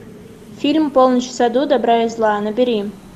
фильм полночь в саду добра и зла набери